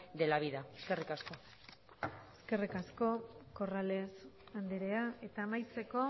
de la vida eskerrik asko eskerrik asko corrales andrea eta amaitzeko